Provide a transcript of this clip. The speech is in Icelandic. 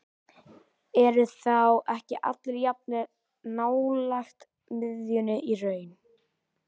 Eru þá ekki allir jafn nálægt miðjunni í raun?